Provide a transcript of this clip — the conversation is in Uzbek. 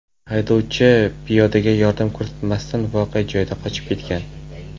Haydovchi piyodaga yordam ko‘rsatmasdan voqea joyidan qochib ketgan.